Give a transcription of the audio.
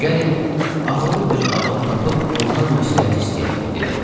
Gəlin ağıllı bir adam tapıb ondan məsləhət istəyək, dedim.